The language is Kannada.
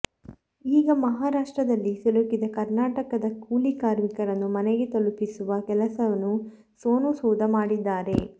ಈಗ ಮಹಾರಾಷ್ಟ್ರದಲ್ಲಿ ಸಿಲುಕಿದ ಕರ್ನಾಟಕದ ಕೂಲಿ ಕಾರ್ಮಿಕರನ್ನು ಮನೆಗೆ ತಲುಪಿಸುವ ಕೆಲಸನ್ನು ಸೋನು ಸೂದ್ ಮಾಡಿದ್ದಾರೆ